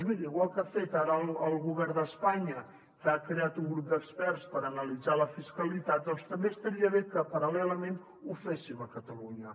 miri igual que ha fet ara el govern d’espanya que ha creat un grup d’experts per analitzar la fiscalitat doncs també estaria bé que paral·lelament ho féssim a catalunya